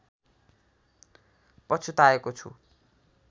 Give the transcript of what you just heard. पछुताएको छु